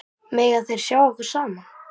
Mega þeir ekki sjá okkur saman?